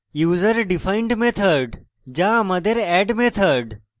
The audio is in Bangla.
user defined userdefined method যা আমাদের add method